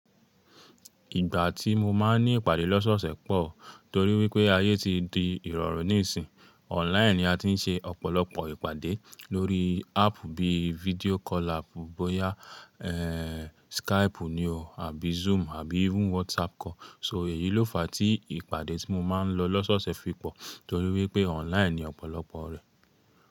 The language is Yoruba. Ìgbà tí mo máa ń ní ìpàdé lọ́sọ̀ọ̀sẹ̀ pọ̀ torí wípé ayé ti di ìrọ̀rùn níìsín. Online ni a ti ń ṣe ọ̀pọ̀lọpọ̀ ìpàdé lórí áàpù bíi video call app bóyá, Skype ni o àbí Zoom àbí even WhatsApp call. So èyí ló fa tí ìpàdé tí mo máa ń lọ lọ́sọ̀ọ̀sẹ̀ fi pọ̀ torí wípé online ni ọ̀pọ̀lọpọ̀ rẹ̀.